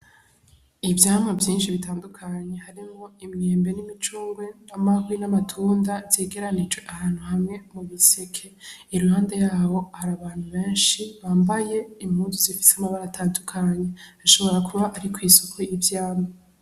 Ivyamwa vyinshi bitadukanye harimwo imyembe n'imicungwe n'imihwi na matunda vyegeranirijwe ahantu hamwe mubiseke, iruhande yaho har'abantu benshi bambaye impuzu z'ifise amabara atadukanye hashobora kuba ari kw'isoko y'ivyamwa.